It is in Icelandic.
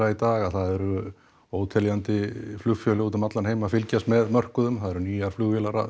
í dag að það eru óteljandi flugfélög úti um allan heim að fylgjast með mörkuðum það eru nýjar flugvélar að